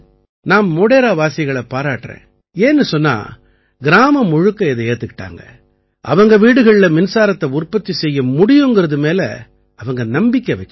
நான் மோடேராவாசிகளை பாராட்டறேன் ஏன்னு சொன்னா கிராமம் முழுக்க இதை ஏத்துக்கிட்டாங்க அவங்க வீடுகள்ல மின்சாரத்தை உற்பத்தி செய்ய முடியுங்கறது மேல அவங்க நம்பிக்கை வச்சாங்க